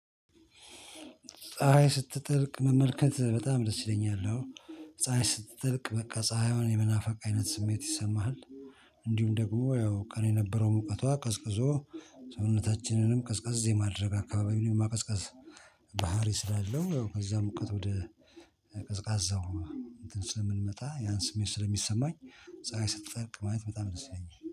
ፀሀይ ስትጠልቅ መመልከት በጣም ደስ ይለኛል አው ፀሀይ ስትልቅ በቃ ፀሀይዋን የመናፈቅ አይነት ስሜት ይሰማሃል። እንዲሁም ደግሞ ያው ቀን የነበረው ሙቀቷ ቀዝቅዞ ሰውነታችንንም ቀዝቃዛ የማድረግ አካባቢንም የማቀዝቃዝ። ባህሪ ስላለው በዛ ሙቀት ወደ ቀዝቃዛው እንትን ስለምትመታ ያን ስሜት ስለሚሰማኝ። ፀሀይ ስትጠርቅ ማየት በጣም ደስ ይለኛል